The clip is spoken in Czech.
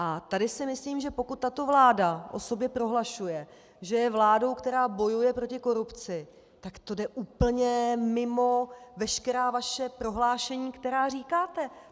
A tady si myslím, že pokud tato vláda o sobě prohlašuje, že je vládou, která bojuje proti korupci, tak to jde úplně mimo veškerá vaše prohlášení, která říkáte.